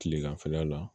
Kileganfɛla la